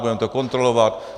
Budeme to kontrolovat.